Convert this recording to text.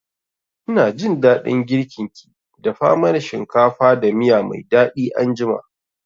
Ina jin daɗin girkin ki, dafa mana shinkafa da miya mai daɗi anjima